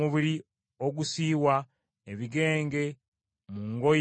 ebigenge mu ngoye oba mu nnyumba,